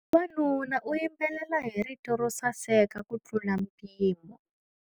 Wanuna u yimbelela hi rito ro saseka kutlula mpimo.